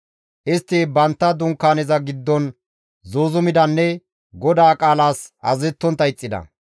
Istti bantta Dunkaaneza giddon zuuzumidanne GODAA qaalas azazettontta ixxida.